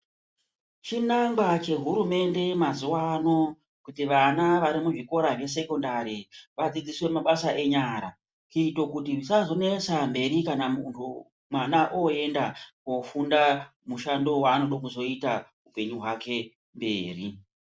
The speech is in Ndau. Chinangwa chehurumende mazuwa ano kuti vana vari muzvikora zvesekondari vadzidziswe mabasa enyara kuite kuti zvisazonesa mberi kana mwana oyenda koofunda mushando wanodo kuzoita muupenyu hwake mberi.